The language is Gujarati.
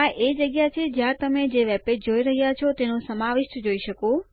આ એ જગ્યા છે જ્યાં તમે જે વેબપેજ જોઈ રહ્યા છો તેનું સમાવિષ્ટ જોઈ શકો